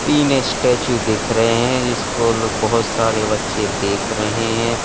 तीन स्टेच्यू दिख रहे हैं जिसको लोग बोहोत सारे बच्चे देख रहे हैं।